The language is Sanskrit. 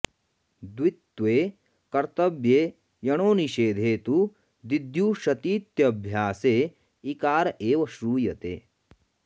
द्वित्वे कर्तव्ये यणो निषेधे तु दिद्यूषतीत्यभ्यासे इकार एव श्रूयेत